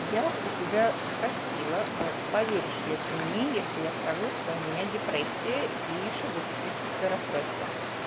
я у тебя спросила а поверишь ли ты мне если я скажу что у меня депрессия и шизотипическое расстройство